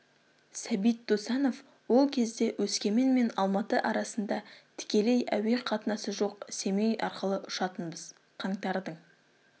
сәбит досанов ол кезде өскемен мен алматы арасында тікелей әуе қатынасы жоқ семей арқылы ұшатынбыз қаңтардың